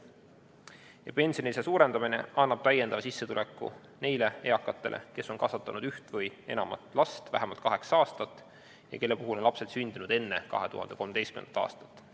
Ja pensionilisa suurendamine annab täiendava sissetuleku neile eakatele, kes on kasvatanud üht või enamat last vähemalt kaheksa aastat ja kelle puhul on lapsed sündinud enne 2013. aastat.